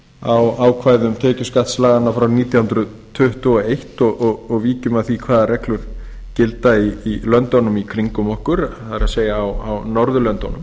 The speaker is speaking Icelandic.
á ákvæðum tekjuskattslaganna frá nítján hundruð tuttugu og eins og víkjum að því hvaða reglur gilda í löndunum í kringum okkur ber norðurlöndunum